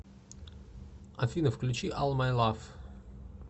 афина включи ал май лаф